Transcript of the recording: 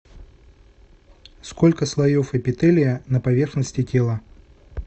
сколько слоев эпителия на поверхности тела